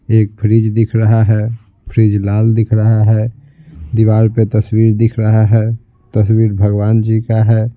एक फ्रिज दिख रहा है फ्रिज लाल दिख रहा है दीवार पे तस्वीर दिख रहा है तस्वीर भगवान जी का है।